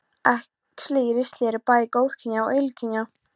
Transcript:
Æxli í ristli eru bæði góðkynja og illkynja.